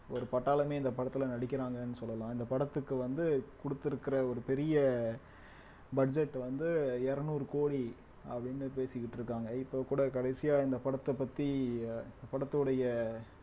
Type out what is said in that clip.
ஒரு பட்டாளமே இந்த படத்துல நடிக்கிறாங்கன்னு சொல்லலாம் இந்த படத்துக்கு வந்து கொடுத்திருக்கிற ஒரு பெரிய budget வந்து இருநூறு கோடி அப்படினு பேசிக்கிட்டு இருக்காங்க இப்ப கூட கடைசியா இந்த படத்த பத்தி படத்துடைய